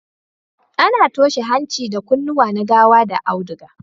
A na toshe hanci da kunnuwa na gawa da auduga